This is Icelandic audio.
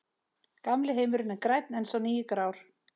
Gamli heimurinn er grænn en sá nýi grár.